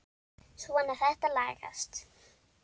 Svona, þetta lagast